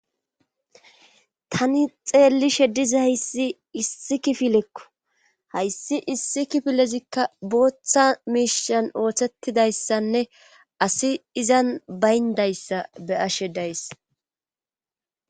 Tani xeelli shediza hayssi issi kifilekko hayssi issi kifilezikka booththa miishan oothettidayssanne asi izan bayndayssa beyashe days